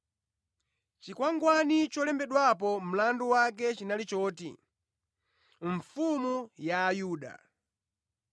Chikwangwani cholembedwapo mlandu wake chinali choti: mfumu ya ayuda .